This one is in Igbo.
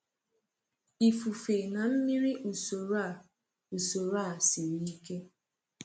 Ifufe na mmiri usoro a usoro a siri ike.